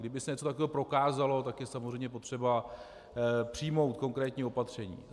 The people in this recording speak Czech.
Kdyby se něco takového prokázalo, tak je samozřejmě potřeba přijmout konkrétní opatření.